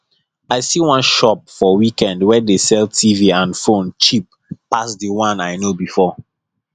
i see one shop for weekend wey dey sell tv and phone cheap pass the one i know before